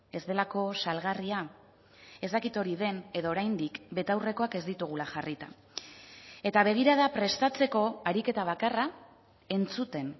ez delako salgarria ez dakit hori den edo oraindik betaurrekoak ez ditugula jarrita eta begirada prestatzeko ariketa bakarra entzuten